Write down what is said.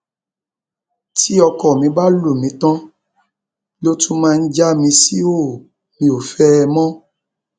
tí ọkọ mi bá lù mí tán ló tún máa já mi síhòòhò mi ò fẹ ẹ mọ